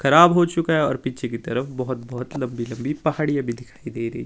खराब हो चुका है और पीछे की तरफ बहुत-बहुत लंबी-लंबी पहाड़ियां भी दिखाई दे रही--